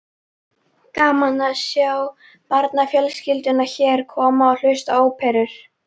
Gaman að sjá barnafjölskyldurnar hér koma og hlusta á óperur.